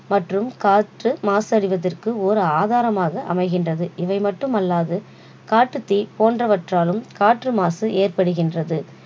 மற்றும் காற்று மாசடைவத்ற்கு ஒரு ஆதாரமாக அமைகின்றது இவை மற்றும் அல்லாது காட்டுத் தீ போன்றவற்றாலும் காற்று மாசு ஏற்படுகின்றது